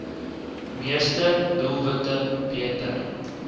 meeste doelwitte beter